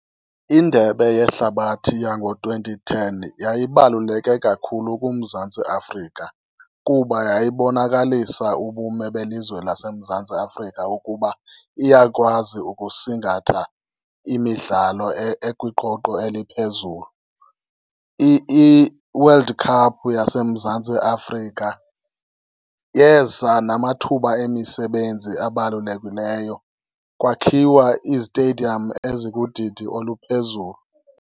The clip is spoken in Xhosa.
Indebe yehlabathi yango-twenty ten yayibaluleke kakhulu kuMzantsi Afrika kuba yayibonakalisa ubume belizwe laseMzantsi Afrika ukuba iyakwazi ukusingatha imidlalo ekwiqweqwe eliphezulu. I-World Cup yaseMzantsi Afrika yeza namathuba emisebenzi abalulekileyo, kwakhiwa izitediyam ezikudidi oluphezulu.